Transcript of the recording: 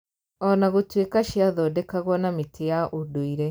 Ona gũtuĩka ciathondekagwo na mĩtĩ ya ũndũire